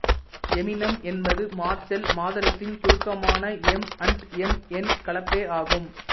Eminem என்பது Marshall மாதர்ஸின் சுருக்கமான எம் அண்ட் எம் இன் கலப்பே ஆகும்